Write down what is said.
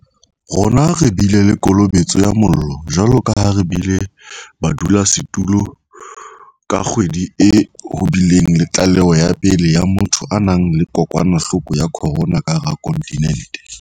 Rona re bile le kolobetso ya mollo, jwalo ka ha re bile badulasetulo ka kgwedi e ho bileng le tlaleho ya pele ya motho a nang le kokwanahloko ya corona ka hara kontinente.